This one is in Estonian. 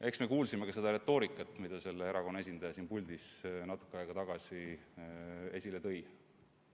Eks me ju kuulsime seda retoorikat, mida selle erakonna esindaja siin puldis natuke aega tagasi esile tõi.